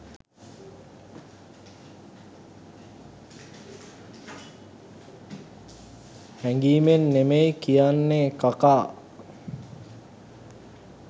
හැඟීමෙන් නෙමෙයි කියන්නේ කකා